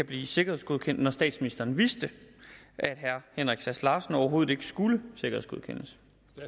blive sikkerhedsgodkendt når statsministeren vidste at herre henrik sass larsen overhovedet ikke skulle sikkerhedsgodkendes